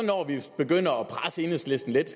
begynder at presse enhedslisten lidt